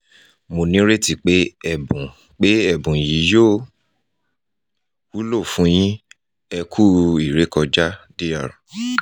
mo nireti pé ẹ̀bùn pé ẹ̀bùn yii yóò wúlò fún yín!ẹ ku ìrẹ́kọjá dr